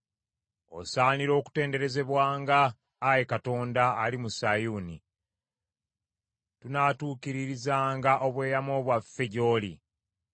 Osaanira okutenderezebwanga, Ayi Katonda, ali mu Sayuuni; tunaatuukiririzanga obweyamo bwaffe gy’oli.